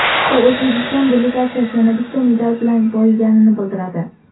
Bu O‘zbekiston delegatsiyasi yana bitta medal bilan boyiganini bildiradi.